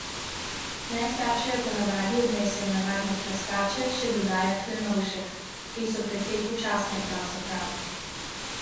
Najslabše jo ponavadi odnesejo navadne krastače, še dodaja Klenovšek: "Te so precej počasne, pravzaprav hodijo čez cesto in dolgo čakajo.